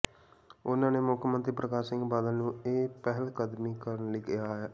ਉਨ੍ਹਾਂ ਨੇ ਮੁੱਖ ਮੰਤਰੀ ਪ੍ਰਕਾਸ਼ ਸਿੰਘ ਬਾਦਲ ਨੂੰ ਇਹ ਪਹਿਲਕਦਮੀ ਕਰਨ ਲਈ ਕਿਹਾ ਹੈ